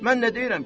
Mən nə deyirəm ki?